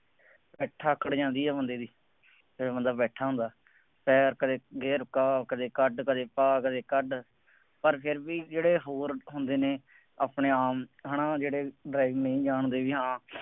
ਪਿੱਠ ਆਕੜ ਜਾਂਦੀ ਹੈ ਬੰਦੇ ਦੀ, ਜਦੋਂ ਬੰਦਾ ਬੈਠਾ ਹੁੰਦਾ, ਪੈਰ ਕਦੇ ਗਿਅਰ ਪਾ ਕਦੇ ਕੱਢ ਕਦੇ ਪਾ ਕਦੇ ਕੱਢ ਪਰ ਫੇਰ ਵੀ ਜਿਹੜੇ ਹੋਰ ਹੁੰਦੇ ਨੇ ਆਪਣੇ ਆਮ ਹੈ ਨਾ ਜਿਹੜੇ driving ਨਹੀਂ ਜਾਂਣਦੇ ਬਈ